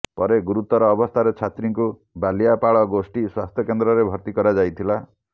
ପରେ ଗୁରୁତର ଅବସ୍ଥାରେ ଛାତ୍ରୀଙ୍କୁ ବାଲିଆପାଳ ଗୋଷ୍ଠୀ ସ୍ୱାସ୍ଥ୍ୟକେନ୍ଦ୍ରରେ ଭର୍ତ୍ତି କରାଯାଇଥିଲା